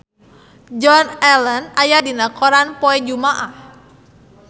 Joan Allen aya dina koran poe Jumaah